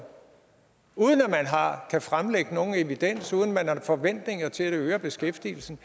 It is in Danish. kan fremlægge nogen evidens uden at man har forventninger til at det øger beskæftigelsen